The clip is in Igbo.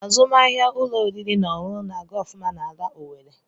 Azụmahịa ụlọ oriri na ọṅụṅụ na-aga ofuma n'ala Owerre.